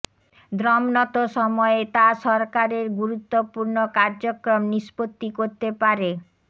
দ্রম্নত সময়ে তা সরকারের গুরুত্বপূর্ণ কার্যক্রম নিষ্পত্তি করতে পারে